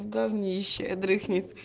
в говнище дрыхнет